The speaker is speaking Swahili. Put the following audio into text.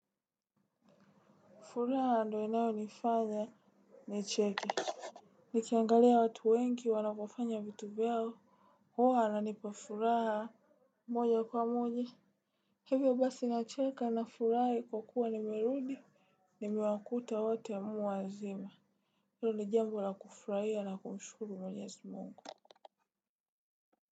Furaha ndo inayonifanya nicheke. Nikiangalia watu wengi wanavyofanya vitu vyao huwa nanipa furaha moja kwa moja. Hivyo basi nacheka nafurahi kwa kuwa nimerudi. Nimewakuta wote muwazima. Hilo ni jambo la kufurahia na kumshukuru mwenyezi Mungu.